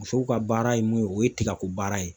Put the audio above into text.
Musow ka baara ye mun ye o ye tigako baara ye